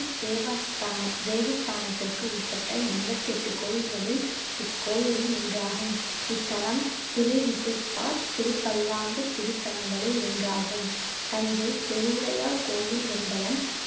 தேவஸ்தான~ தேவஸ்தானத்திற்கு உட்பட்ட எண்பத்தி எட்டு கோயில்களில் இக்கோயிலும் ஒன்றாகும் இத்தலம் திருவிசைப்பா திருபல்லாண்டு திருத்தலங்களில் ஒன்றாகும் தஞ்சை பெருவுடையார் கோயில் என்பதன்